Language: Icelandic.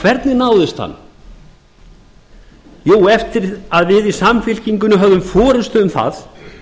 hvernig náðist hann eftir að við í samfylkingunni höfðum forustu um það